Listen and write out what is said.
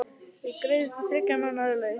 Ég greiði þér þriggja mánaða laun.